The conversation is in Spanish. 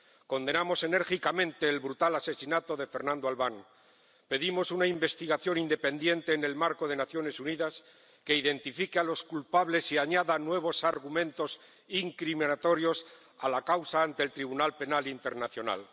Condenamos enérgicamente el brutal asesinato de Fernando Albán y pedimos una investigación independiente en el marco de las Naciones Unidas que identifique a los culpables y añada nuevos argumentos incriminatorios a la causa ante la Corte Penal Internacional.